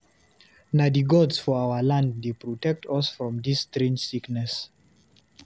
Na di gods of our land dey protect us from dis strange sickness.